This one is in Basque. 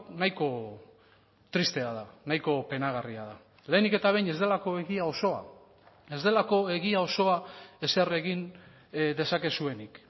nahiko tristea da nahiko penagarria da lehenik eta behin ez delako egia osoa ez delako egia osoa ezer egin dezakezuenik